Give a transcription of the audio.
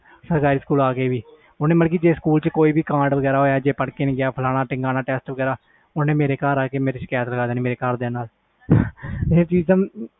ਸਰਕਾਰੀ ਸਕੂਲ ਆ ਕੇ ਵੀ ਮਤਬਲ ਸਕੂਲ ਵਿਚ ਕੋਈ ਵੀ ਕਾਂਡ ਵੇਗਰਾ ਹੋਇਆ ਪੜ੍ਹ ਕੇ ਨਹੀਂ ਗਿਆ ਜਾ ਟੈਸਟ ਵਗੈਰਾ ਓਹਨੇ ਮੇਰੇ ਘਰ ਆ ਕੇ ਸ਼ਕਾਇਤ ਲੈ ਦੇਣੀ